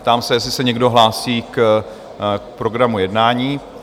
Ptám se, jestli se někdo hlásí k programu jednání?